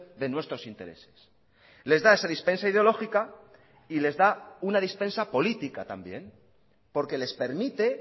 de nuestros intereses les da esa dispensa ideológica y les da una dispensa política también porque les permite